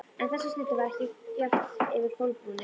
En þessa stundina var ekki bjart yfir Kolbrúnu.